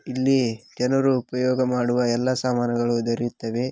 ಇಲ್ಲಿ ಜನರು ಉಪಯೋಗ ಮಾಡುವ ಎಲ್ಲಾ ಸಾಮಾನುಗಳು ದೊರೆಯುತ್ತವೆ.